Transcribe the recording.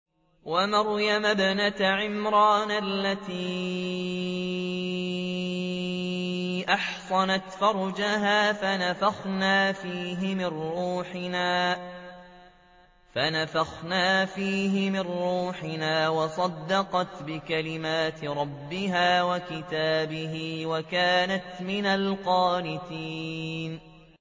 وَمَرْيَمَ ابْنَتَ عِمْرَانَ الَّتِي أَحْصَنَتْ فَرْجَهَا فَنَفَخْنَا فِيهِ مِن رُّوحِنَا وَصَدَّقَتْ بِكَلِمَاتِ رَبِّهَا وَكُتُبِهِ وَكَانَتْ مِنَ الْقَانِتِينَ